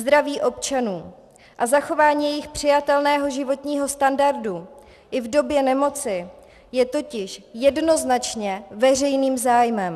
Zdraví občanů a zachování jejich přijatelného životního standardu i v době nemoci je totiž jednoznačně veřejným zájmem.